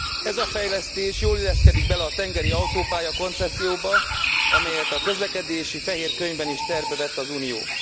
Ez a fejlesztés jól illeszkedik bele a tengeri autópálya koncepcióba, amelyet a közlekedési fehér könyvben is tervbe vett az Unió.